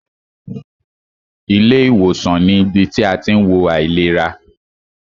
Ilé ìwòsàn ní ibi tí a tí ń wo àìlera.